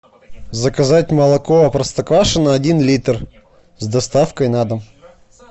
заказать молоко простоквашино один литр с доставкой на дом